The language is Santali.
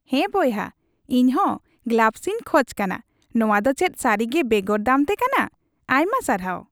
ᱦᱮᱸ ᱵᱚᱭᱦᱟ, ᱤᱧ ᱦᱚᱸ ᱜᱞᱟᱵᱷᱥᱤᱧ ᱠᱷᱚᱡ ᱠᱟᱱᱟ ᱾ ᱱᱚᱣᱟ ᱫᱚ ᱪᱮᱫ ᱥᱟᱹᱨᱤᱜᱮ ᱵᱮᱜᱚᱨ ᱫᱟᱢᱛᱮ ᱠᱟᱱᱟ ? ᱟᱭᱢᱟ ᱥᱟᱨᱦᱟᱣ !